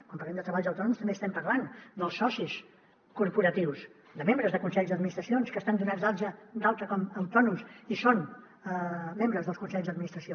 quan parlem de treballs autònoms també estem parlant dels socis corporatius de membres de consells d’administracions que estan donats d’alta com a autònoms i són membres dels consells d’administració